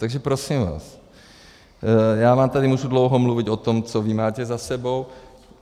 Takže prosím vás, já vám tady můžu dlouho mluvit o tom, co vy máte za sebou.